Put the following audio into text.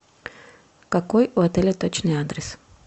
какой у отеля точный адрес